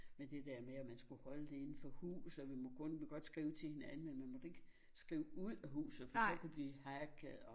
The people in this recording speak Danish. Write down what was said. Med det der med at man skulle holde det inde for huset og vi må kun må godt skrive til hinanden men man måtte ikke skrive ud af huset for så kunne de hacke og